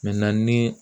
ni